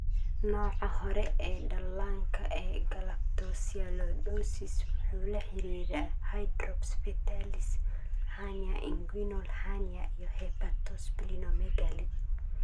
Nooca hore ee dhallaanka ee galactosialidosis wuxuu la xiriiraa hydrops fetalis, hernia inguinal hernia, iyo hepatosplenomegaly.